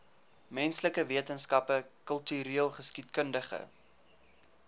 menslike wetenskappe kultureelgeskiedkundige